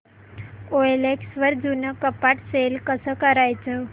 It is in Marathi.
ओएलएक्स वर जुनं कपाट सेल कसं करायचं